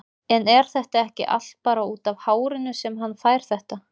En er þetta ekki allt bara útaf hárinu sem hann fær þetta?